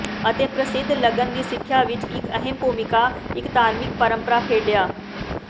ਅਤੇ ਪ੍ਰਸਿੱਧ ਲਗਨ ਦੀ ਸਿੱਖਿਆ ਵਿੱਚ ਇੱਕ ਅਹਿਮ ਭੂਮਿਕਾ ਇੱਕ ਧਾਰਮਿਕ ਪਰੰਪਰਾ ਖੇਡਿਆ